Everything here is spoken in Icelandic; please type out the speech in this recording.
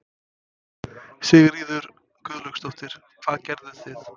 Sigríður Guðlaugsdóttir: Hvað gerðuð þið?